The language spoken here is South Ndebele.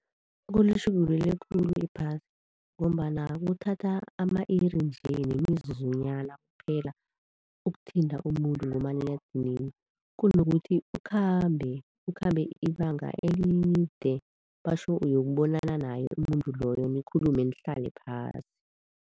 Kulitjhugulule khulu iphasi ngombana kuthatha ama-iri nje nemizuzunyana kuphela ukuthinta umuntu ngomaliledinini, kunokuthi ukhambe, ukhambe ibanga elide batjho uyokubonana naye umuntu loyo nikhulume nihlale phasi.